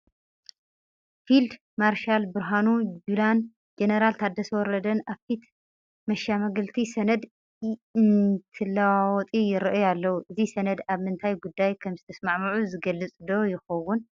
ፊልድ ማርሻል ብርሃኑ ጁላን ጀነራል ታደሰ ወረደን አብ ፊት መሸማገልቲ ሰነድ እንትለዋወጢ ይርአዩ ኣለዉ፡፡ እዚ ሰነድ ኣብ ምንታይ ጉዳይ ከምዝተስማዕምዑ ዝገልፅ ዶ ይኸውን?